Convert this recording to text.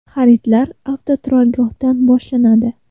Xaridlar avtoturargohdan boshlanadi.